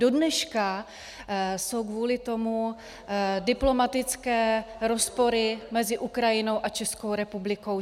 Dodneška jsou kvůli tomu diplomatické rozpory mezi Ukrajinou a Českou republikou.